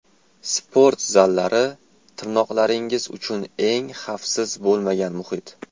Sport zallari – tirnoqlaringiz uchun eng xavfsiz bo‘lmagan muhit.